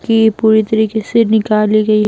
की पूरी तरीके से निकाली गई --